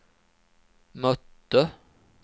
mötte